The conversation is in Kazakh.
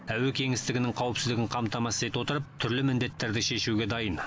әуе кеңістігінің қауіпсіздігін қамтамасыз ете отырып түрлі міндеттерді шешуге дайын